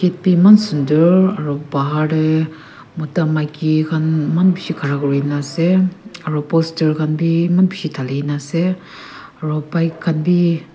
gate bi eman sundor aro bahar deh mota maiki khan eman bishi khara kurigina asey aro poster khanbi eman bishi dhaligina asey aro bike khan bi--